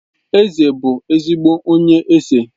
Eze bụ ezigbo onye ese